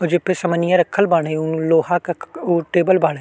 उ जेपे समनिया रखल बाड़े उ लोहा क क उ टेबल बाड़े।